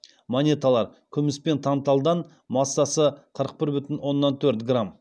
монеталар күміс пен танталдан массасы қырық бір бүтін оннан төрт грамм